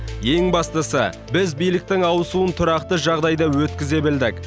ең бастысы біз биліктің ауысуын тұрақты жағдайда өткізе білдік